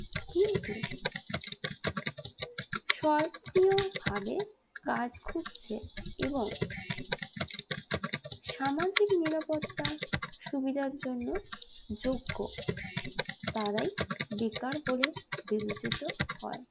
সক্রিয়ভাবে কাজ খুঁজছে এবং সামাজিক নিরাপত্তার সুবিধার জন্য যোগ্য তারাই বেকার বলে বিবেচিত হয়